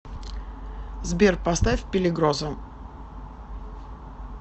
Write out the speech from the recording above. сбер поставь пелигрозо